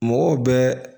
Mɔgɔw bɛ